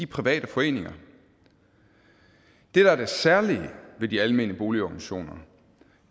private foreninger det der er det særlige ved de almene boligorganisationer